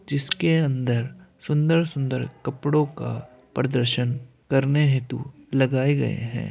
जिसके अन्दर सुंदर-सुंदर कपड़ों का प्रदर्शन करने हेतु लगाए गए हैं।